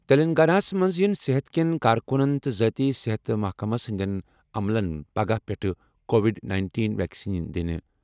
تیٚلنٛگاناہس منٛز یِن صحت کیٚن کارکُنن تہٕ ذٲتی صحت محکَمس ہِنٛدیٚن عملن پگہہ پیٚٹھٕ کووِڈ نَینٹین ویکسیٖن دِنہٕ